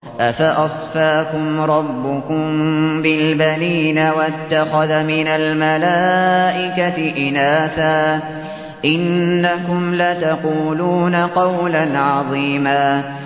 أَفَأَصْفَاكُمْ رَبُّكُم بِالْبَنِينَ وَاتَّخَذَ مِنَ الْمَلَائِكَةِ إِنَاثًا ۚ إِنَّكُمْ لَتَقُولُونَ قَوْلًا عَظِيمًا